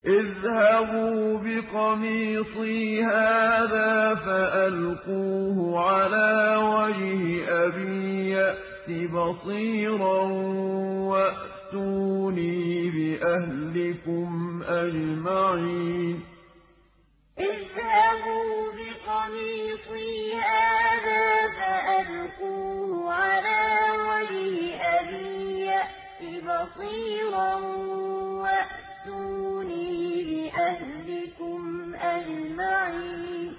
اذْهَبُوا بِقَمِيصِي هَٰذَا فَأَلْقُوهُ عَلَىٰ وَجْهِ أَبِي يَأْتِ بَصِيرًا وَأْتُونِي بِأَهْلِكُمْ أَجْمَعِينَ اذْهَبُوا بِقَمِيصِي هَٰذَا فَأَلْقُوهُ عَلَىٰ وَجْهِ أَبِي يَأْتِ بَصِيرًا وَأْتُونِي بِأَهْلِكُمْ أَجْمَعِينَ